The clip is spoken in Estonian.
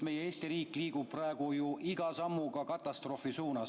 Meie Eesti riik liigub praegu ju iga sammuga katastroofi suunas.